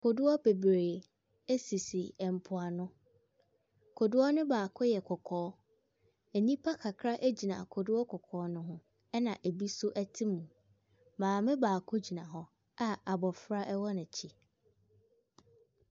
Kodoɔ bebree sisi mpoano. Kodoɔ no baako yɛ kɔkɔɔ. Nnipa kakragyina kodoɔ kɔkɔɔ no ho, ɛna ɛbi nso te mu. Maame baako gyina hɔ a aboɔfra wɔ n'akyi.